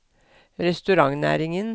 restaurantnæringen